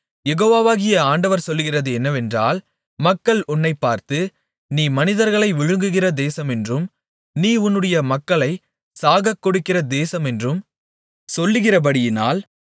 யெகோவாகிய ஆண்டவர் சொல்லுகிறது என்னவென்றால் மக்கள் உன்னைப்பார்த்து நீ மனிதர்களைப் விழுங்குகிற தேசமென்றும் நீ உன்னுடைய மக்களைச் சாகக்கொடுக்கிற தேசமென்றும் சொல்லுகிறபடியினால்